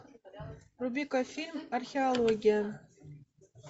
вруби ка фильм археология